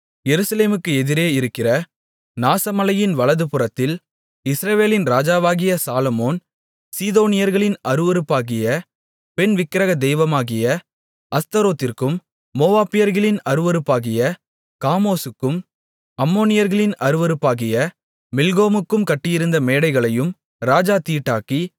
எருசலேமுக்கு எதிரே இருக்கிற நாசமலையின் வலதுபுறத்தில் இஸ்ரவேலின் ராஜாவாகிய சாலொமோன் சீதோனியர்களின் அருவருப்பாகிய பெண் விக்கிரக தெய்வமாகிய அஸ்தரோத்திற்கும் மோவாபியர்களின் அருவருப்பாகிய காமோசுக்கும் அம்மோனியர்களின் அருவருப்பாகிய மில்கோமுக்கும் கட்டியிருந்த மேடைகளையும் ராஜா தீட்டாக்கி